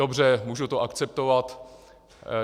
Dobře, můžu to akceptovat.